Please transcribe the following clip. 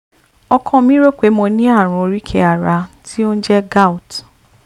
ọkọ mi rò pé mo ní ààrùn oríkèé ara tí ó jẹ́ ń gout